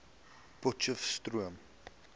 potcheftsroom